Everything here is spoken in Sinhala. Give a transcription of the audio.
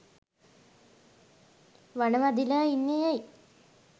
වන වැදිලා ඉන්නෙ ඇයි?